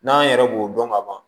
N'an yɛrɛ b'o dɔn ka ban